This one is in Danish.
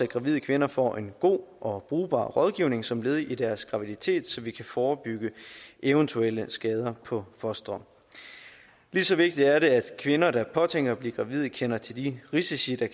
gravide kvinder får en god og brugbar rådgivning som led i deres graviditet så man kan forebygge eventuelle skader på fostre lige så vigtigt er det at kvinder der påtænker at blive gravide kender til de risici der